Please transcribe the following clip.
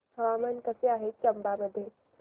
हवामान कसे आहे चंबा मध्ये